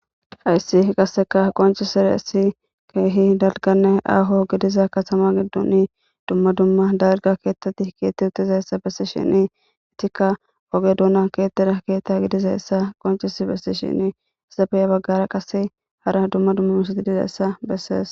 Hayssi qasseka qoncisiressi keehi dalganne aaho gidiza katama giddun dumma dumma darga keettati keetti utizayessa bessi shini itikka woge duuna kettida keetta gidizayessa qoncis bessi shini hissapeya baggara qase hara dumma dummamusati dizayssa bessees